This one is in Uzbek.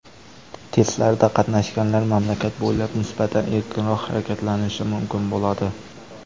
Testlarda qatnashganlar mamlakat bo‘ylab nisbatan erkinroq harakatlanishi mumkin bo‘ladi.